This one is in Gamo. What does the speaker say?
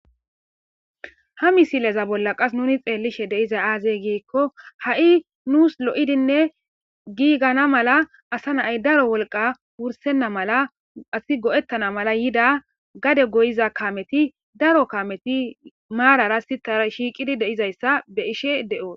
Ha misileza bolla qassi nuni xeellizay aaze gizayssa giikko ha7i nuus lo7idinne giigana mala qassika wolqa wurssenna mala asi go7ettana mala yida gade goyiza daro kaameti maarara sittara shiiqidi de7izayssa be7ishe de7oos.